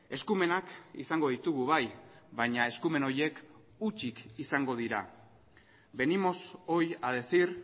eskumenak izango ditugu bai baina eskumen horiek hutsik izango dira venimos hoy a decir